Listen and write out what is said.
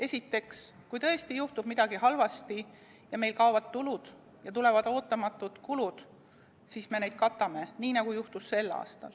Esiteks, kui tõesti juhtub midagi halba, meil kaovad tulud, tulevad ootamatud kulud, siis me neid katame – nii, nagu juhtus sel aastal.